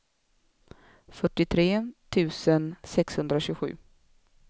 fyrtiotre tusen sexhundratjugosju